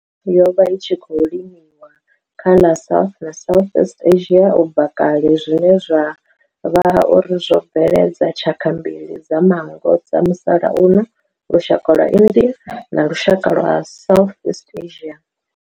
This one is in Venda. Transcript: yo vha i tshi khou limiwa kha ḽa South na Southeast Asia ubva kale zwine zwa vha uri zwo bveledza tshaka mbili dza manngo dza musalauno, lushaka lwa India na lushaka lwa Southeast Asia.